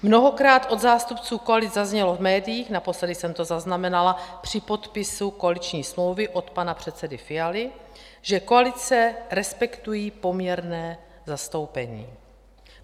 Mnohokrát od zástupců koalic zaznělo v médiích - naposledy jsem to zaznamenala při podpisu koaliční smlouvy od pana předsedy Fialy - že koalice respektují poměrné zastoupení.